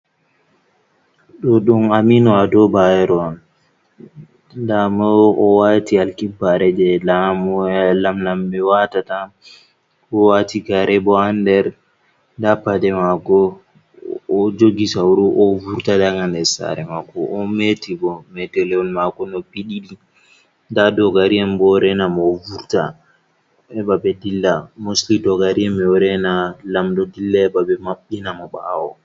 Ɗo dum Aminu Ado bayero on. Ndamo o wati alkibbare jei lam lamɓe watata. Oɗowati gare bo ha nder. Nda paɗe mako o jogi sauru oɗo vurta daga nder sare mako, o meti bo metelewol mako noppi ɗiɗi. Nda dogari en bo ɗo renamo ɓe vurta heɓa ɓe dilla. Mostli dogari en ɗo rena lamɗo dilla heɓa maɓɓina mo ɓawo.